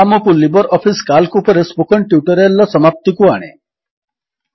ଏହା ଆମକୁ LibreOffice Calc ଉପରେ ସ୍ପୋକନ୍ ଟ୍ୟୁଟୋରିଆଲ୍ ର ସମାପ୍ତିକୁ ଆଣେ